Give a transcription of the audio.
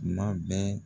Tuma bɛɛ